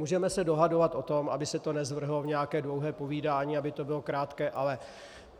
Můžeme se dohadovat o tom, aby se to nezvrhlo v nějaké dlouhé povídání, aby to bylo krátké, ale